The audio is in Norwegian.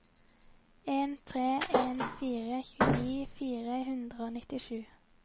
en tre en fire tjueni fire hundre og nittisju